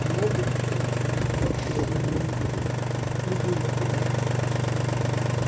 ну вот и все осталось подождать две недели улыбнулась она